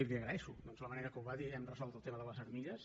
i li agraeixo la manera com ho va dir hem resolt el tema de les armilles